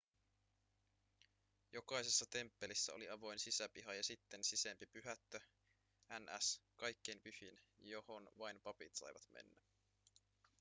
jokaisessa temppelissä oli avoin sisäpiha ja sitten sisempi pyhättö ns kaikkein pyhin johon vain papit saivat mennä